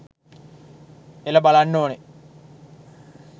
එළ බලන්න ඕනේ